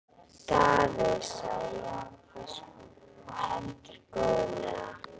Daði, sagði Jón biskup og heldur góðlega.